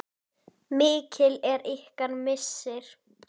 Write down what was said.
Mikill er ykkar missir.